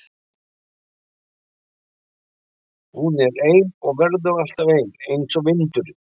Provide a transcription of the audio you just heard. Hún er ein og verður alltaf ein einsog vindurinn.